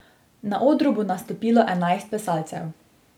Na odru bo nastopilo enajst plesalcev.